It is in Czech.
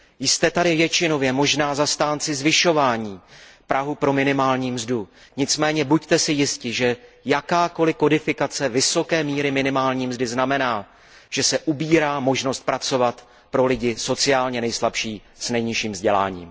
Jste tady většinově možná zastánci zvyšování prahu pro minimální mzdu, nicméně buďte si jisti, že jakákoliv kodifikace vysoké míry minimální mzdy znamená, že se ubírá možnost pracovat pro lidi sociálně nejslabší s nejnižším vzděláním.